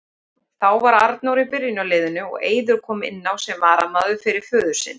Þá var Arnór í byrjunarliðinu og Eiður kom inn á sem varamaður fyrir föður sinn.